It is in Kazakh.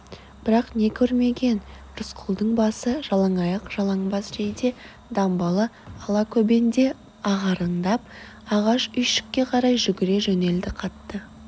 бірақ не көрмеген рысқұлдың басы жалаңаяқ жалаңбас жейде-дамбалы алакөбенде ағараңдап ағаш үйшікке қарай жүгіре жөнелді қатты